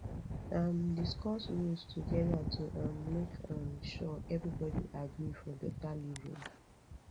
um discuss rules together to um make um sure everybody agree for better living